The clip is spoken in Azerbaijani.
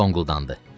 O donquldandı.